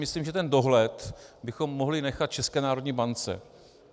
Myslím, že ten dohled bychom mohli nechat České národní bance.